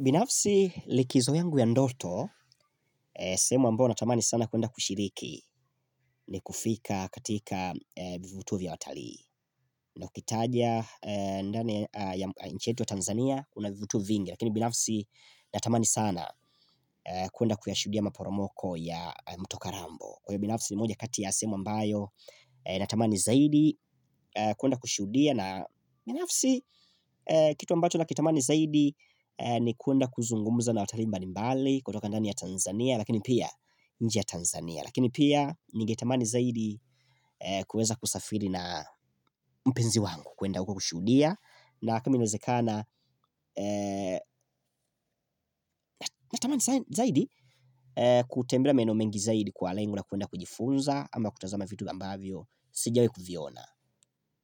Binafsi likizo yangu ya ndoto, sehemu ambao natamani sana kuenda kushiriki ni kufika katika vivutu vya watalii. Na ukitaja ndani ya nchi yetu ya Tanzania, kuna vivuto vingi. Lakini binafsi natamani sana kuenda kuyashuhudia maporomoko ya mto kalambo. Kwa hiyo binafsi ni moja kati ya sehemu ambayo natamani zaidi kuenda kushuhudia. Na ni nafsi kitu ambacho nakitamani zaidi ni kuenda kuzungumza na watalii mbalimbali. Kutoka ndani ya Tanzania lakini pia nje ya Tanzania. Lakini pia ningetamani zaidi kuweza kusafiri na mpenzi wangu kuenda kwa kushuhudia. Na kama inawezekana natamani zaidi kutembelea maeneo mengi zaidi kwa lengo na kuenda kujifunza ama kutazama vitu ambavyo sijawai kuviona